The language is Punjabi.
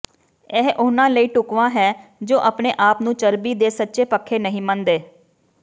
ਇਹ ਉਨ੍ਹਾਂ ਲਈ ਢੁਕਵਾਂ ਹੈ ਜੋ ਆਪਣੇ ਆਪ ਨੂੰ ਚਰਬੀ ਦੇ ਸੱਚੇ ਪੱਖੇ ਨਹੀਂ ਮੰਨਦੇ